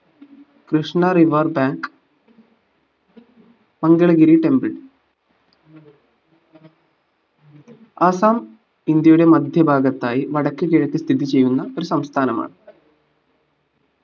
Krishna river bank Mangalagiri temple Assam ഇന്ത്യയുടെ മധ്യഭാഗത്തായി വടക്ക്കിഴക്ക് സ്ഥിതി ചെയ്യുന്ന ഒരു സംസ്ഥാനമാണ്